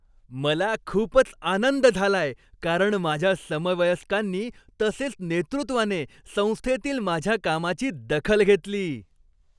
मला खूपच आनंद झाला आहे, कारण माझ्या समवयस्कांनी तसेच नेतृत्वाने संस्थेतील माझ्या कामाची दखल घेतली.